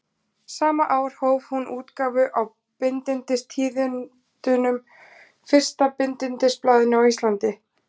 Sama ár hóf hún útgáfu á Bindindistíðindum, fyrsta bindindisblaðinu á Íslandi.